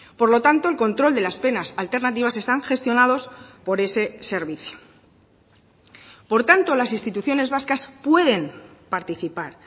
por lo tanto el control de las penas alternativas están gestionados por ese servicio por tanto las instituciones vascas pueden participar